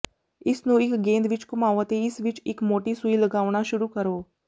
ਇਸ ਨੂੰ ਇੱਕ ਗੇਂਦ ਵਿੱਚ ਘੁਮਾਓ ਅਤੇ ਇਸ ਵਿੱਚ ਇੱਕ ਮੋਟੀ ਸੂਈ ਲਗਾਉਣਾ ਸ਼ੁਰੂ ਕਰੋ